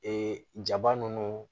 Ee jaba ninnu